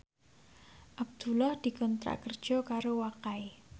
Abdullah dikontrak kerja karo Wakai